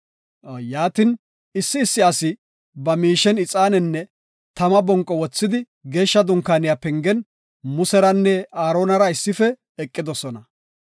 Yaatin, issi issi asi ba miishen ixaanenne tama bonqo wothidi geeshsha dunkaaniya pengen Museranne Aaronara issife eqidosona.